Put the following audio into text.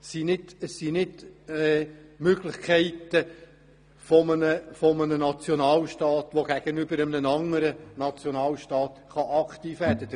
Es bestehen keine Möglichkeiten eines Nationalstaats, gegenüber einem anderen Nationalstaat aktiv werden zu können.